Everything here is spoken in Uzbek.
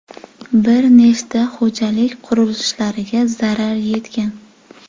Bir nechta xo‘jalik qurilishlariga zarar yetgan.